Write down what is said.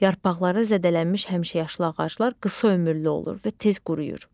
Yarpaqları zədələnmiş həmişəyaşıl ağaclar qısa ömürlü olur və tez quruyur.